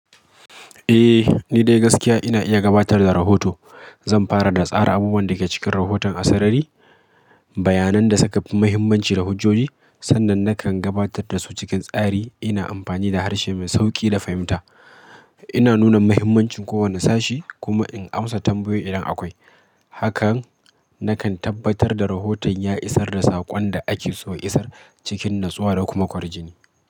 Eh, ni dai gaskiya ina iya gabatar da rahoto. Zan fara da tsara abubuwan da ke cikin rahoton a sarari, bayanan da suka fi muhimmanci da hujjoji. Sannan nakan gabatar da su cikin tsari, ina amfani da harshe mai sauƙi da fahimta. Ina nuna muhimmancin kowane sashi kuma in amsa tambayoyi idan akwai. Hakan nakan tabbatar da rahoton ya isar da saƙon da ake so ya isar cikin natsuwa da kuma kwarjini.